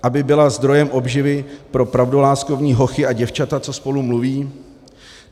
Aby byla zdrojem obživy pro pravdoláskovní hochy a děvčata, co spolu mluví?